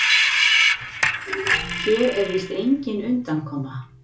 Hér er víst engin undankoma.